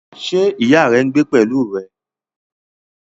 Ṣé ìyá rẹ ń gbé pẹ̀lú rẹ?